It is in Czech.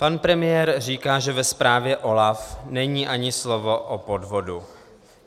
Pan premiér říká, že ve zprávě OLAFu není ani slovo o podvodu.